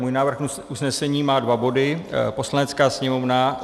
Můj návrh usnesení má dva body: "Poslanecká sněmovna